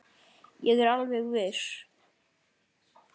Ég er alveg viss.